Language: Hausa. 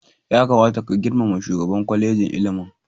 Ya kamata ka girmama shugaban kwalejin ilimin.